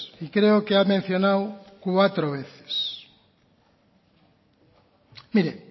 y creo que ha mencionado cuatro veces mire